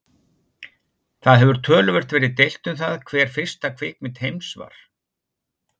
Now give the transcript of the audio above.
Það hefur töluvert verið deilt um það hver fyrsta kvikmynd heims var.